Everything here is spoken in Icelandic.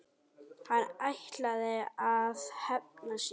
Hann ætlaði að hefna sín!